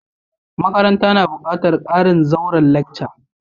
Makarantan na bukatan karin zauren lacca.